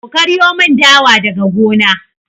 Ku karyo mun dawa daga gona!